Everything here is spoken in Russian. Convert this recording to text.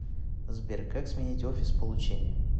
сбер как сменить офис получения